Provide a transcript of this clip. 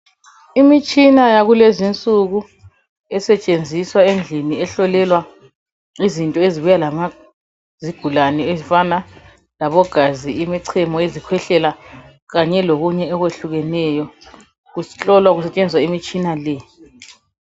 Imitshina yakulezinsuku esetshenziswa endlini ehlolelwa izinto ezibuya lezigulane ezifana labogazi imichemo izikhwehlela kanye lokunye okwehlukeneyo kuhlolwa kusetshenziswa imitshina le.